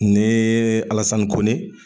Nee Alasani Kone